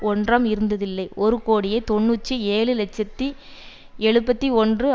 ஒன்றாம் இருந்ததில்லை ஒரு கோடியே தொன்னூற்றி ஏழு இலட்சத்தி எழுபத்து ஒன்று